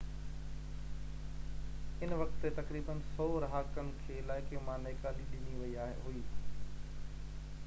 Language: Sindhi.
ان وقت تي تقريبن 100 رهاڪن کي علائقي مان نيڪالي ڏني وئي هئي